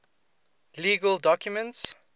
legal documents